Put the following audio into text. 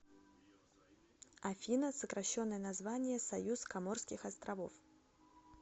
афина сокращенное название союз коморских островов